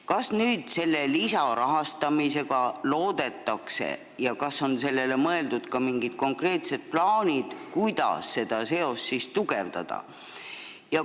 Kas selle lisarahastamisega loodetakse seda parandada ja kas on ka mingid konkreetsed plaanid, kuidas seda seost tugevdada?